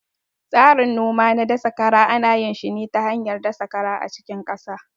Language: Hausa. Tsarin noma na dasa kara ana yin shi ne ta hanyar dasa kara a cikin ƙasa